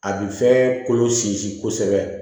A bi fɛn kolo sinsin kosɛbɛ